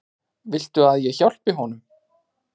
Viltu að ég hjálpi honum?